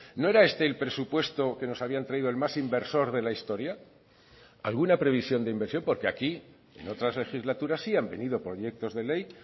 no era este el presupuesto que nos habían traído el más inversor de la historia alguna previsión de inversión porque aquí en otras legislaturas sí han venido proyectos de ley